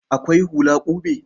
Akwai hula ƙube.